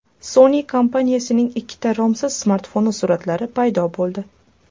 Sony kompaniyasining ikkita romsiz smartfoni suratlari paydo bo‘ldi.